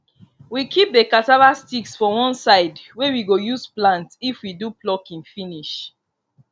we keep the cassava sticks for one side wey we go use plant if we do plucking finish